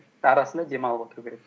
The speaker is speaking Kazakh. арасында демалып отыру керек